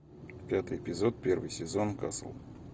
пятый эпизод первый сезон касл